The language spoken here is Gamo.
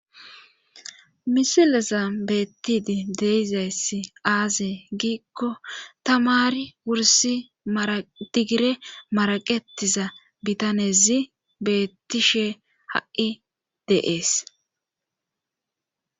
Misileza beettidi deizayssi aaze giikko tamari wursi tigire maraqetiza bitanezi bettishe ha7i de7ees.